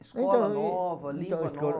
Escola nova, língua